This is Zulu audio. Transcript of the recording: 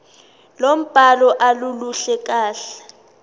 lombhalo aluluhle kahle